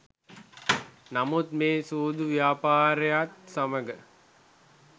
නමුත් මේ සූදු ව්‍යාපාරයත් සමග